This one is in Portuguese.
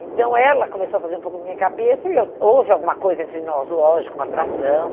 Então ela começou a fazer um pouco na minha cabeça e eu houve alguma coisa entre nós, lógico, uma atração.